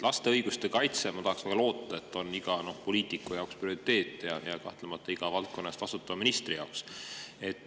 Laste õiguste kaitse, ma tahaks väga loota, on iga poliitiku ja kahtlemata iga valdkonna eest vastutava ministri jaoks prioriteet.